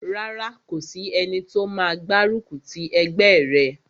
Rárá, kò sí ẹni tó máa gbárùkù ti ẹgbẹ́ rẹ̀